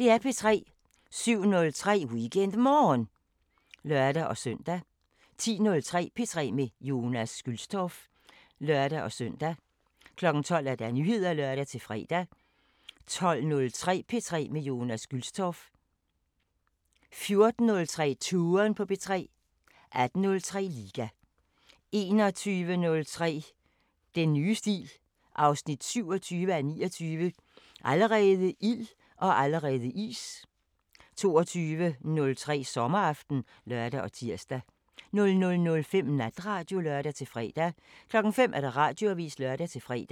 07:03: WeekendMorgen (lør-søn) 10:03: P3 med Jonas Gülstorff (lør-søn) 12:00: Nyheder (lør-fre) 12:03: P3 med Jonas Gülstorff 14:03: Touren på P3 18:03: Liga 21:03: Den nye stil 27:29 – Allerede ild og allerede is! 22:03: Sommeraften (lør og tir) 00:05: Natradio (lør-fre) 05:00: Radioavisen (lør-fre)